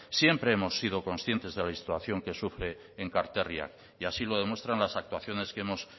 siempre hemos sido conscientes de la situación que sufre en enkarterriak y así lo demuestran las actuaciones que hemos